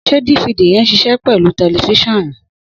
Sẹ difidi yẹ́n sisẹ pẹlú tẹlifisionu?